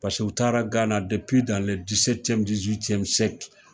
Paseke u taara Gana